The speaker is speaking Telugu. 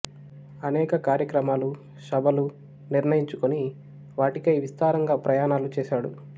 అనేక కార్యక్రమాలు సభలు నిర్ణయించుకుని వాటికై విస్తారంగా ప్రయాణాలు చేశాడు